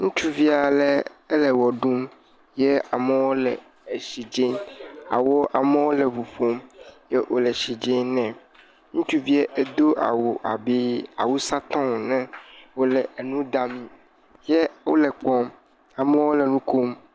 Ŋutsuvi ale, ele ʋe ɖum ye amewo le etsi dze, amewo le ŋu ƒom ye wole etsi dze nɛ, ŋutsuvia edo awu abe awusatɔ ene wòle enu ɖam, amewo le kpɔm, amewo le nu kom.